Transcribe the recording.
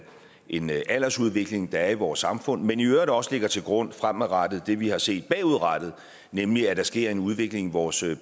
en aldersudvikling der er i vores samfund men i øvrigt også lægger til grund fremadrettet det vi har set bagudrettet nemlig at der sker en udvikling i vores